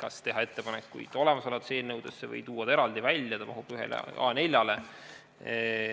kas teha ettepanekuid olemasolevate eelnõude kohta või tuua eelnõu eraldi välja, see mahub ühele A4-le.